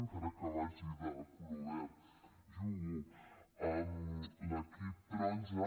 encara que vagi verda jugo amb l’equip taronja